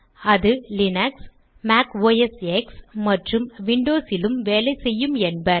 அது Linux Mac OS X மற்றும் Windows லும் வேலை செய்யும் என்பர்